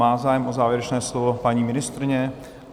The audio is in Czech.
Má zájem o závěrečné slovo paní ministryně?